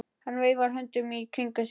Hann veifar höndunum í kringum sig.